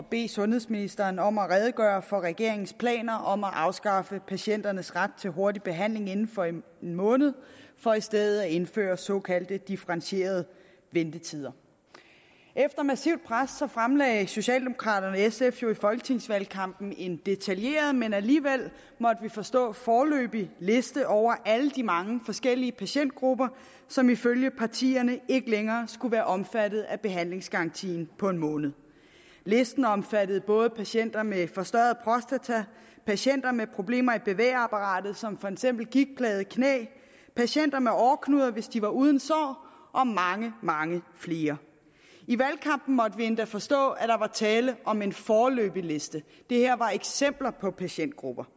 bede sundhedsministeren om at redegøre for regeringens planer om at afskaffe patienternes ret til hurtig behandling inden for en måned for i stedet at indføre såkaldte differentierede ventetider efter massivt pres fremlagde socialdemokraterne og sf jo i folketingsvalgkampen en detaljeret men alligevel måtte vi forstå foreløbig liste over alle de mange forskellige patientgrupper som ifølge partierne ikke længere skulle være omfattet af behandlingsgarantien på en måned listen omfattede både patienter med forstørret prostata patienter med problemer i bevægeapparatet som for eksempel gigtplagede knæ patienter med åreknuder hvis de var uden sår og mange mange flere i valgkampen måtte vi endda forstå at der var tale om en foreløbig liste det her var eksempler på patientgrupper